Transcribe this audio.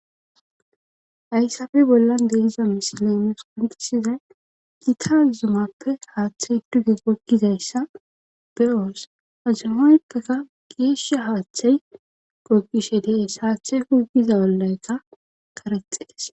Haysafe bollan denza misilemes pundisizay giika zumappe haaththey duge goggizayssa beos azumoyppeka geeshsha haaththey gogishe dees haaththey hugiza ollayka karexees.